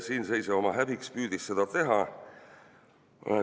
Siinseisja oma häbiks püüdiski seda teha.